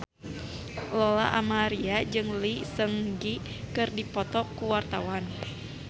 Lola Amaria jeung Lee Seung Gi keur dipoto ku wartawan